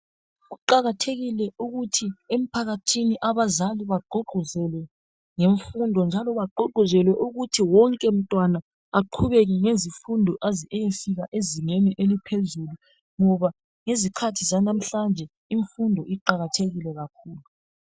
Kuqakathekile ukuthi emphakathini abazali bagqugquzele ngemfundo njalo bagqugquzelwe ukuthi wonke mntwana aqhubele ngemfundo aze ayefika ezingeni eliphezulu ngoba ngezikhathi zanamhlanje imfundo iqakathekile kakhulu.